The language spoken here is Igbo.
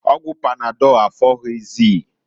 Ọgwụ panadọlụ afoghịzịị.